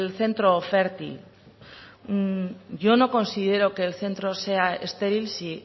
centro fértil yo no considero que el centro sea estéril si